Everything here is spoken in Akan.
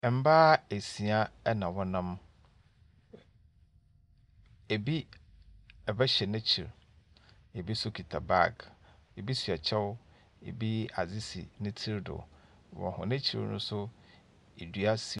Mmaa nsia na wɔnam. Ebi ba hyɛ n'akyiri, ebi nso kuta bag. Ebi hyɛ kyɛw, ebi adze si ne tiri do. Wɔn akyir no nso e.